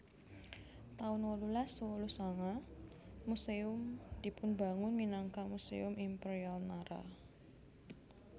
taun wolulas wolu sanga Museum dipunbangun minangka Museum Imperial Nara